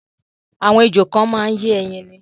Àwọn ejò kan máa ń yé ẹyin ni.